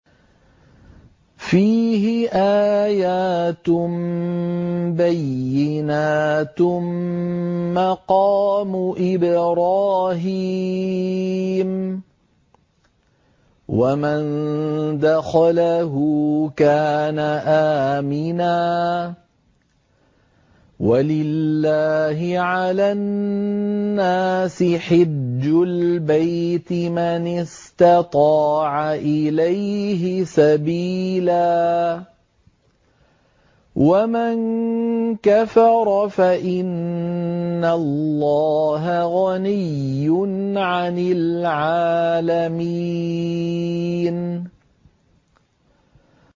فِيهِ آيَاتٌ بَيِّنَاتٌ مَّقَامُ إِبْرَاهِيمَ ۖ وَمَن دَخَلَهُ كَانَ آمِنًا ۗ وَلِلَّهِ عَلَى النَّاسِ حِجُّ الْبَيْتِ مَنِ اسْتَطَاعَ إِلَيْهِ سَبِيلًا ۚ وَمَن كَفَرَ فَإِنَّ اللَّهَ غَنِيٌّ عَنِ الْعَالَمِينَ